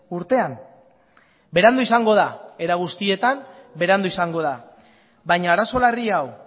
urtean berandu izango da era guztietan berandu izango da baina arazo larri hau